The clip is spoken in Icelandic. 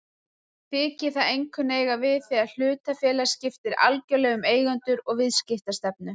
Þykir það einkum eiga við þegar hlutafélag skiptir algjörlega um eigendur og viðskiptastefnu.